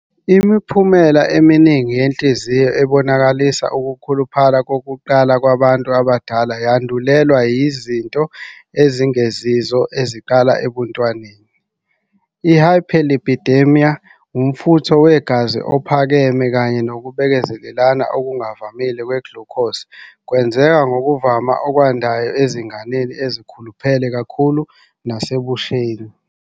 Imiphumela eminingi yenhliziyo ebonakalisa ukukhuluphala kokuqala kwabantu abadala yandulelwa yizinto ezingezizo eziqala ebuntwaneni. I-Hyperlipidemia, umfutho wegazi ophakeme, kanye nokubekezelelana okungavamile kwe-glucose kwenzeka ngokuvama okwandayo ezinganeni ezikhuluphele kakhulu nasebusheni.